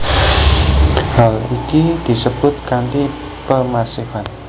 Hal iki disebut kanti pemasifan